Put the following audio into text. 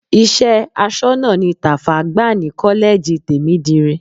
Iṣẹ́ aṣọ́nà ni Tàfá gbà ní kọ́lẹ́ẹ̀jì Tèmídire.